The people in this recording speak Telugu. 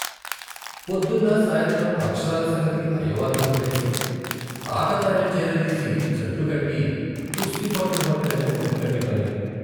పొద్దున్నా సాయంత్రం అక్షరాలు సంగతి అయ్యవార్ల కొదిలేసి ఆకతాయిల్ని చేరదీసి జట్లుకట్టి కుస్తీ పట్లు పట్టటమే ముక్కంటి పని.